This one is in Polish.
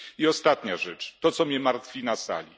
I ostatnia rzecz to, co mnie martwi na sali.